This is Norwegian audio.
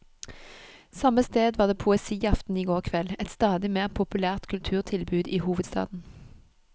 Samme sted var det poesiaften i går kveld, et stadig mer populært kulturtilbud i hovedstaden.